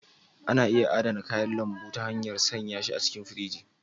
Ana iya adana kayan lambu ta hanyar sanya shi a cikin firiji.